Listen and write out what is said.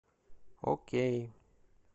окей